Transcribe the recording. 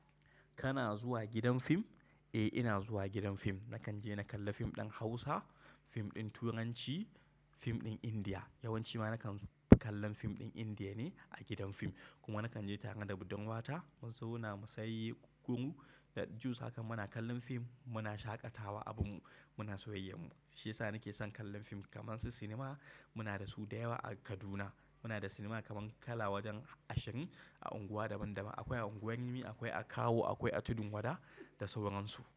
Kana zuwa gidan fim? Eh ina zuwa gidan fim. Nakan je na kalla fim ɗin Hausa, fim ɗin Turanci, fim ɗin Indiya. Yawanci ma nakan kallon fim ɗin Indiya ne a gidan fim. Kuma nakan je tare da budan uwata. Mu zauna saye gurguru da juice, haka muna kallon fim, muna shaƙatawa abunmu, muna soyayyar mu. Shiyasa nake son kallon fim. Kaga sinima muna da su da yawa a Kaduna. Muna da sinima kaman Kala wajen Ashin, a unguwa daban daban. Akwai a unguwar Rimi, akwai a Kawo, akwai a Tudun Wada da sauransu.